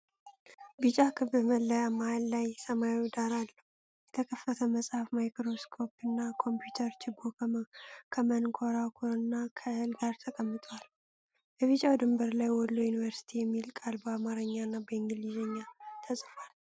ቢጫ ክብ መለያ መሃል ላይ ሰማያዊ ዳራ አለው:: የተከፈተ መጽሐፍ፣ ማይክሮስኮፕ፣ ኮምፒውተርና ችቦ ከመንኮራኩርና ከእህል ጋር ተቀምጠዋል:: በቢጫው ድንበር ላይ "ወሎ ዩኒቨርሲቲ" የሚለው ቃል በአማርኛና በእንግሊዝኛ ተጽፏል::